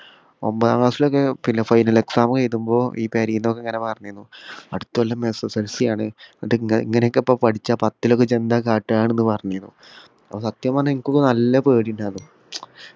ഒമ്പതാം class ലൊക്കെ പിന്നെ final exam എഴുതുമ്പോ ഈ പെരീന്നൊക്കെ ഇങ്ങന പറഞ്ഞിരുന്നു അടുത്ത കൊല്ലം SSLC ആണ് ഇത് ഇങ്ങനെ ഇങ്ങനൊക്കെ ഇപ്പൊ പഠിച്ചാ പത്തിലൊക്കെ ഇജ്ജ് ന്താ കാട്ടുവാന്ന് പറഞ്ഞിനു അപ്പൊ സത്യം പറഞ്ഞ എനിക്കൊക്കെ നല്ല പേടിയുണ്ടായിര്ന്നു